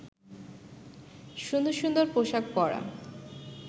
সুন্দর সুন্দর পোশাক পরা